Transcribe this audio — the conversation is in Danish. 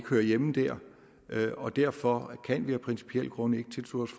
hører hjemme der og derfor kan vi af principielle grunde ikke tilslutte